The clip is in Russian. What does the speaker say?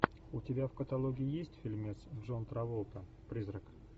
у тебя в каталоге есть фильмец джон траволта призрак